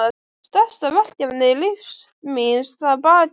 Stærsta verkefni lífs míns að baki.